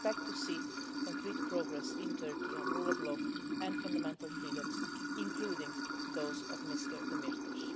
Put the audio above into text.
We expect to see concrete progress in Turkey on the rule of law and fundamental freedoms, including those of Mr Demirtaş.